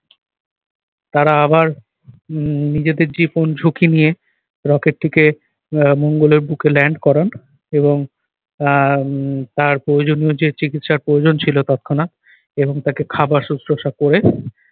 তারা আবার উহ নিজেদের জীবন ঝুঁকি rocket টিকে আহ মঙ্গলের বুকে land করার এবং আহ উহ তার প্রয়োজনীয় যে চিকিৎসার প্রয়োজন ছিল তৎক্ষণাৎ এবং তাকে খাবার সুশ্রূষা করে